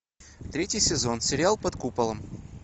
третий сезон сериал под куполом